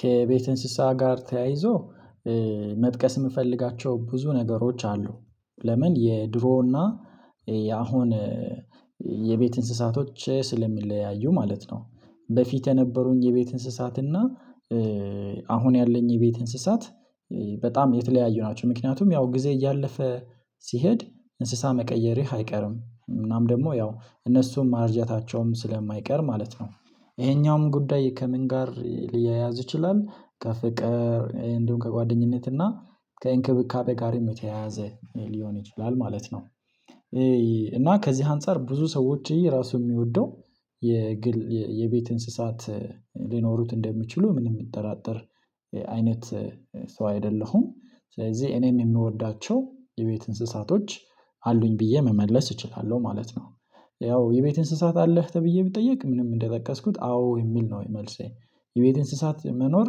ከቤት እንስሳ ጋር ተያይዞ መጥቀስ የምፈልጋቸው ብዙ ነገሮች አሉ ለምን የድሮ እና ያአሁን የቤት እንስሳቶች ስለሚለያዩ ማለት ነው። በፊት የነበሩኝ የቤት እንስሳት እና አሁን ያለኝ የቤት እንስሳት በጣም የተለያዩ ናቸው ምክንያቱም ያው ጊዜ እያለፈ ሲሄድ እንስሳ መቀየርህ አይቀርም እናም ደግሞ ያው እነሱም ማርጀታቸውም ስለማይቀር ማለት ነው። ይሄኛውም ጉዳይ ከምን ጋር ሊያያዝ ይችላል ከፍቅር እንደውም ከጓደኝነት እና ከእንክብካቤ ጋር የተያያዘ ሊሆን ይችላል ማለት ነው እና ከዚህ አንፃር ብዙ ሰዎች የየራሱ የሚወደው የግል የቤት እንስሳት ሊኖሩት እንደምችሉ ምን የሚጠራጠር አይነት ሰው አይደለሁም ስለዚህ እኔም የምወዳቸው የቤት እንስሳቶች አሉኝ ብዬ መመለስ እችላለሁ ማለት ነው። ያው የቤት እንስሳት አለህ? ተብዬ ብጠየቅ ምንም እንደጠቀስኩት አዎ የሚል ነው መልሴ። የቤት እንስሳት መኖር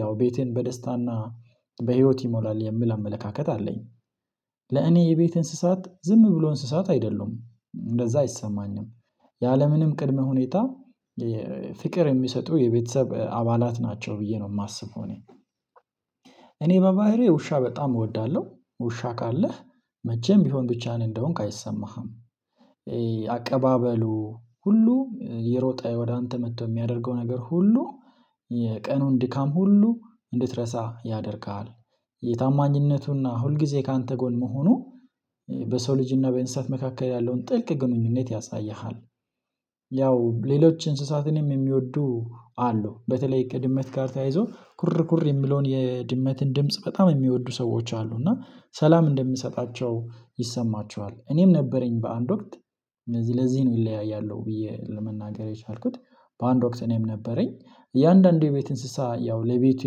ያው ቤቴን በደስታና በህይወት ይሞላል የምል አመለካከት አለኝ። ለእኔ የቤት እንስሳት ዝም ብሎ እንስሳት አይደለሁም። እንደዛ አይሰማኝም ያለምንም ቅድመ ሁኔታ ፍቅር የሚሰጡ የቤተሰብ አባላት ናቸው ብዬ ነው የማስበው እኔ እኔ በባህሪ ውሻ በጣም እወዳለሁ። ውሻ ካለህ መቼም ቢሆን ብቻህን እንደሆንክ አይሰማህም። አቀባበሉ ሁሉ፣ የሮጠ ወደ አንተ መጥቶ የሚያደርገው ነገር ሁሉ፣ የቀኑን ድካም ሁሉ እንድትረሳ ያደርግሃል። የታማኝነቱና ሁልጊዜ ካንተ ጎን መሆኑ በሰው ልጅ እና በእንስሳት መካከል ያለውን ጥልቅ ግንኙነት ያሳይሃል። ያው ሌሎች እንስሳትንም የሚወዱ አሉ። በተለይ ከድመት ጋር ተያይዞ ኩር ኩር የሚለውን የድመትን ድምጽ በጣም የሚወዱ ሰዎች አሉ እና ሰላም እንደሚሰጣቸው ይሰማቸዋል። እኔም ነበረኝ በአንድ ወቅት ለዚህ ለዚህ ነው ይለያያሉ ብዬ ለመናገር የቻልኩት። በአንድ ወቅት እኔም ነበረኝ እያንዳንዱ የቤት እንስሳ ያው ለቤቱ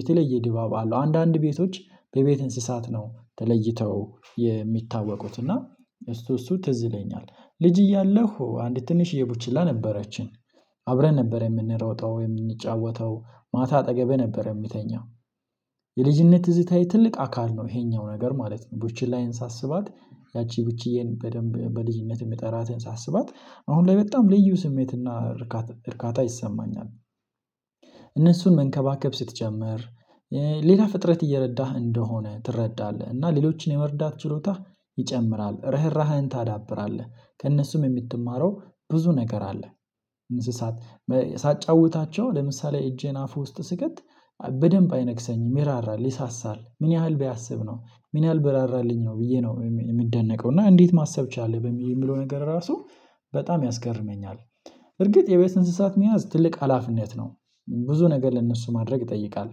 የተለየ ድባብ አለው። አንዳንድ ቤቶች በቤት እንስሳት ነው ተለይተው የሚታወቁት እና እሱ እሱ ትዝለኛል። ልጅ እያለ አንድ ትንሽዬ ቡችላ ነበረችን አብረን ነበር የምንሮጠው፣ የምንጫወተው፣ ማታ አጠገቤ ነበር የምተኛው፣ የልጅነት ትዝታዬ ትልቅ አካል ነው። ይሄኛው ነገር ማለት ነው። ቡችላዬን ሳስባት ያቺ ቡችዬን በደንብ በልጅነት የምትጠራትን ሳስባት አሁን ላይ በጣም ልዩ ስሜትና እርካታ እርካታ ይሰማኛል። እነሱን መንከባከብ ስትጨምር ሌላ ፍጥረት እየረዳህ እንደሆነ ትረዳለህ እና ሌሎችን የመርዳት ችሎታህ ይጨምራል፣ ርህራህን ታዳብራለህ ከእነሱም የምትማረው ብዙ ነገር አለ። እንስሳት ሳጫውታቸው ለምሳሌ እጄን አፉ ውስጥ ስከት በደንብ አይነክሰኝም ይራራል፣ ይሳሳል ምን ያህል ቢያስብ ነው፤ ምን ያህል ብራራልኝ ነው፤ ብዬ ነው የምደነቀው እና እንዴት ማሰብ ቻለ የሚለው ነገር ራሱ በጣም ያስገርመኛል። በእርግጥ የቤት እንስሳት መያዝ ትልቅ ሀላፊነት ነው፤ ብዙ ነገር ለእነሱ ማድረግ ይጠይቃል።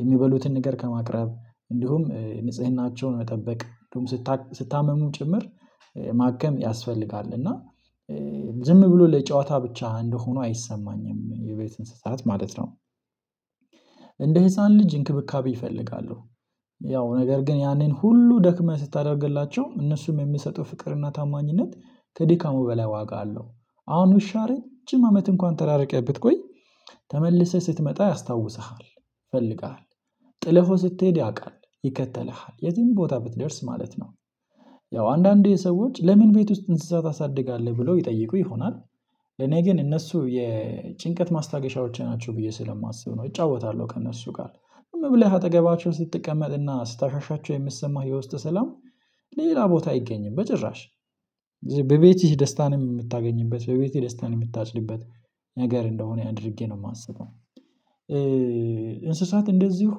የሚበሉትን ነገር ከማቅረብ እንዲሁም ንጽህናቸውን መጠበቅ ስታመሙ ጭምር ማከም ያስፈልጋል እና ዝም ብሎ ለጨዋታ ብቻ እንደሆኑ አይሰማኝም የቤት እንስሳት ማለት ነው። እንደ ህፃን ልጅ እንክብካቤ ይፈልጋሉ ነገር ግን ያንን ሁሉ ደክመህ ስታደርግላቸው እነሱም የሚሰጡ ፍቅር እና ታማኝነት ከድካሙ በላይ ዋጋ አለው። አሁን ውሻ ረጅም አመት እንኳን ተራርቀህ ብትቆይ ተመልሰህ ስትመጣ ያስታውስሃል፣ ይፈልገሃል ጥለህው ስትሄድ ያውቃል ይከተልሃል የትም ቦታ ብትደርስ ማለት ነው። ያው አንዳንዴ የሰዎች ለምን ቤት ውስጥ እንስሳ ታሳድጋለህ? ብሎ ይጠይቁ ይሆናል እኔ ግን እነሱ የጭንቀት ማስታገሻዎች ናቸው ብዬ ስለማስብ ነው። እጫወታለሁ ከእነሱ ጋር ዝም ብለህ አጠገባቸውን ስትቀመጥና ስታሻሻቸው የምትሰማው የውስጥ ሰላም ሌላ ቦታ አይገኝም በጭራሽ በቤትሽ ደስታንም የምታገኝበት፣ በቤትህ ደስታን የምታጭድበት ነገር እንደሆነ አድርጌ ነው የማስበው። እንስሳት እንደዚሁ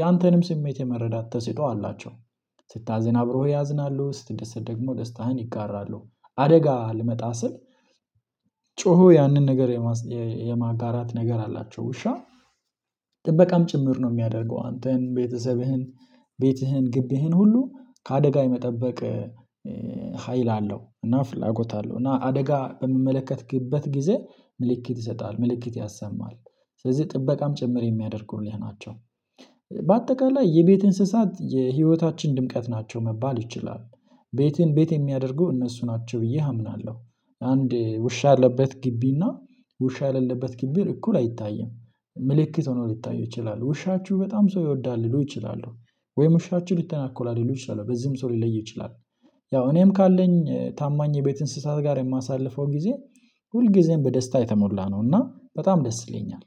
ያንተንም ስሜት የመረዳት ተሰጥኦ አላቸው። ስታዘን አብሮ ያዝናሉ፣ ስትደሰት ደግሞ ደስታህን ይጋራሉ። አደጋ ልመጣ ስል ጮሆ ያንን ነገር የማጋራት ነገር አላቸው፣ ውሻ ጥበቃም ጭምር ነው የሚያደርገው አንተን፣ ቤተሰብህን፣ ቤትህን፣ ግቢህን ሁሉ ከአደጋ የመጠበቅ ሀይል አለው እና ፍላጎት አለው እና አደጋ በምመለከትክበት ጊዜ ምልክት ይሰጣል፣ ምልክት ያሰማል ስለዚህ ጥበቃም ጭምር የሚያደርጉልህ ናቸው፣ በአጠቃላይ የቤት እንስሳት የህይወታችን ድምቀት ናቸው መባል ይችላል። ቤትን ቤት የሚያደርጉ እነሱ ናቸው ብዬ አምናለሁ። አንድ ውሻ ያለበት ግቢ እና ውሻ የሌለበት ግቢ እኩል አይታይም። ምልክት ሆኖ ሊታዩ ይችላሉ። ውሻችሁ በጣም ሰው ይወዳ፣ ሊሉ ይችላሉ ወይም ውሻችሁ ልተናኮል ሊሉ ይችላሉ በዚህም ሰው ሊለይ ይችላል። ያው እኔም ካለኝ ታማኝ የቤት እንስሳት ጋር የማሳልፈው ጊዜ ሁል ጊዜም በደስታ የተሞላ ነው እና በጣም ደስ ይለኛል።